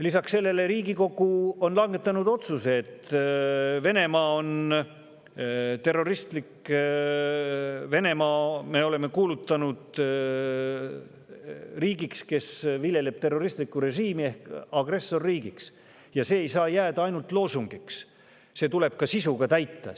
Lisaks sellele on Riigikogu kuulutanud Venemaa riigiks, kes viljeleb terroristlikku režiimi, ehk agressorriigiks ja see ei saa jääda ainult loosungiks, see tuleb ka sisuga täita.